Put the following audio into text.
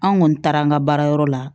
An kɔni taara an ka baarayɔrɔ la